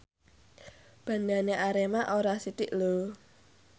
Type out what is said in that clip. bandhane Arema ora sithik lho